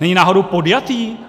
Není náhodou podjatý?